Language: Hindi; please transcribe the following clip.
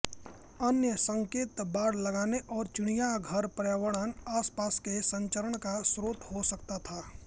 अन्य संकेत बाड़ लगाने और चिड़ियाघर पर्यावरण आसपास के संचरण का स्रोत हो सकता था